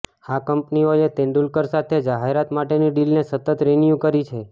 આ કંપનીઓએ તેંડુલકર સાથે જાહેરાત માટેની ડીલને સતત રિન્યું કરી છે